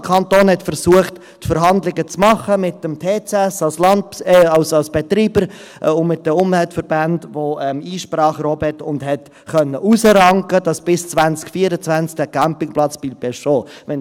Der Kanton versuchte, die Verhandlungen zu führen mit dem Touring Club Schweiz (TCS) als Betreiber und mit den Umweltverbänden, die Einsprache erhoben hatten, und konnte erreichen, dass der Campingplatz bis 2024 bestehen bleibt.